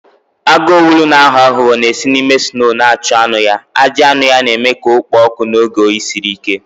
Agụ owulu na-aghọ aghụghọ na-esi n'ime snoo na-achụ anụ ya, ajị anụ ya na-eme ka ọ kpoo ọkụ n'oge oyi siri ike.